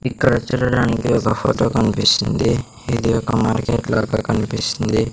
ఇక్కడ చూడడానికి ఒక ఫొటో కన్పిస్తుంది ఇది ఒక కన్పిస్తుంది.